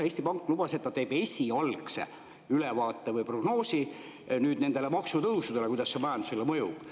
Eesti Pank lubas, et ta teeb esialgse ülevaate või prognoosi nende maksutõusude kohta, et, kuidas need majandusele mõjuvad.